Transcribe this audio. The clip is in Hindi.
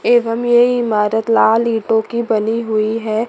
एवं ये इमरत लाल ईटो की बनी हुई है।